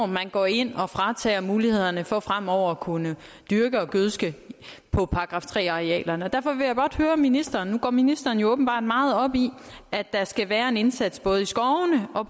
man går ind og fratager mulighederne for fremover at kunne dyrke og gødske på § tre arealerne derfor vil jeg blot høre ministeren for ministeren går jo åbenbart meget op i at der skal være en indsats både i skovene og